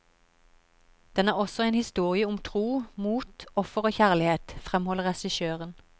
Den er også en historie om tro, mot, offer og kjærlighet, fremholder regissøren.